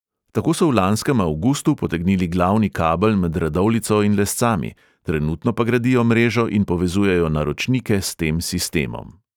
Tako so v lanskem avgustu potegnili glavni kabel med radovljico in lescami, trenutno pa gradijo mrežo in povezujejo naročnike s tem sistemom.